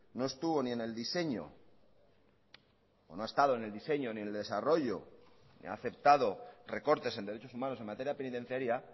no estuvo ni en el diseño o no ha estado ni en el diseño ni en el desarrollo ni ha aceptado recortes en derechos humanos en materia penitenciaria